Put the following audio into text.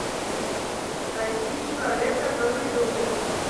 найти человек который любит